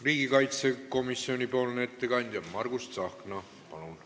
Riigikaitsekomisjoni ettekandja Margus Tsahkna, palun!